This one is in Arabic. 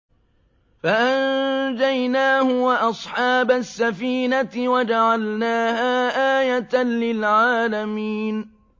فَأَنجَيْنَاهُ وَأَصْحَابَ السَّفِينَةِ وَجَعَلْنَاهَا آيَةً لِّلْعَالَمِينَ